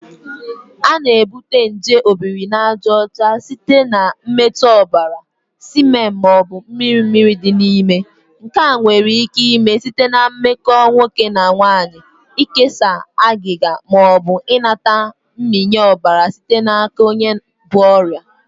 A na-ebute nje Obirinajaọcha site na mmetụ ọbara, semen, ma ọ bụ mmiri mmiri dị n'ime. Nke a nwere ike ime site na mmekọ nwoke na nwanyị, ikesa agịga, ma ọ bụ ịnata mmịnye ọbara site n'aka onye bu ọrịa